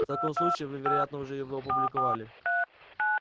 в таком случае вы вероятно уже его опубликовали